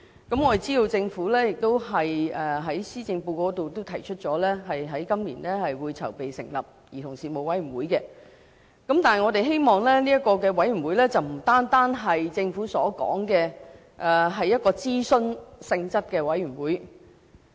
我們知道政府在施政報告中提出，今年會籌備成立兒童事務委員會，但我們希望這個委員會不單是政府所說屬諮詢性質的委員會。